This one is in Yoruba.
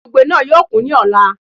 Ibùgbé náà yóò kún ní ọ̀la